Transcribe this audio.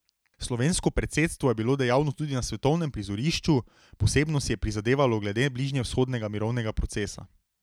Slovensko predsedstvo je bilo dejavno tudi na svetovnem prizorišču, posebno si je prizadevalo glede bližnjevzhodnega mirovnega procesa.